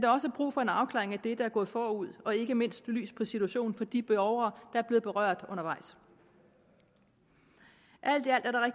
også brug for en afklaring af det der er gået forud og ikke mindst belyst situationen for de borgere der er blevet berørt undervejs alt